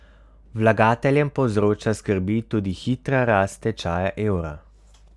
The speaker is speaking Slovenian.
Vlagateljem povzroča skrbi tudi hitra rast tečaja evra.